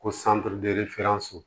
Ko